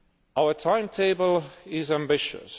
Our timetable is ambitious.